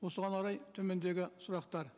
осыған орай төмендегі сұрақтар